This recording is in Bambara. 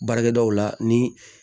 Baarakɛdaw la ni